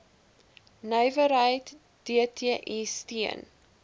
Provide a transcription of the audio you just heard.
nywerheid dti steun